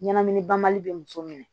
Ɲɛnamini banbali bɛ muso minɛ